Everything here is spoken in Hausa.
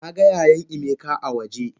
Naga yayan emeka a waje.